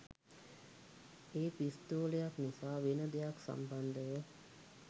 ඒ පිස්තෝලයක් නිසා වෙන දෙයක් සම්බන්ධව.